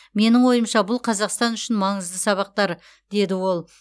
менің ойымша бұл қазақстан үшін маңызды сабақтар деді ол